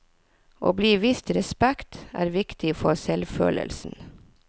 Å bli vist respekt er viktig for selvfølelsen.